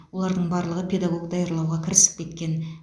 олардың барлығы педагог даярлауға кірісіп кеткен